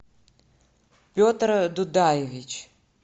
петр дудаевич